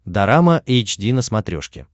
дорама эйч ди на смотрешке